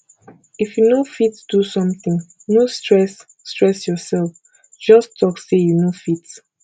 if you no fit do something no stress stress yourself just talk say you no fit